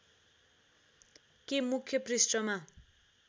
के मुख्य पृष्‍ठमा